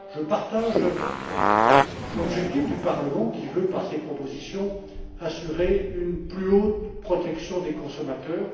Je partage l'objectif du Parlement, qui veut, par ses propositions, assurer une haute protection des consommateurs.